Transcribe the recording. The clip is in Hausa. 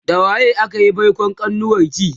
da waye akayi baikon kanuwarki?